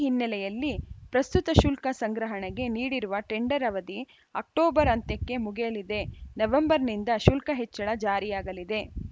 ಈ ಹಿನ್ನೆಲೆಯಲ್ಲಿ ಪ್ರಸ್ತುತ ಶುಲ್ಕ ಸಂಗ್ರಹಣೆಗೆ ನೀಡಿರುವ ಟೆಂಡರ್‌ ಅವಧಿ ಅಕ್ಟೋಬರ್‌ ಅಂತ್ಯಕ್ಕೆ ಮುಗಿಯಲಿದೆ ನವೆಂಬರ್‌ನಿಂದ ಶುಲ್ಕ ಹೆಚ್ಚಳ ಜಾರಿಯಾಗಲಿದೆ